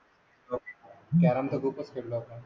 carrom तर खूपच खेळलो आपण